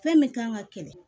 Fɛn min kan ka kɛlɛ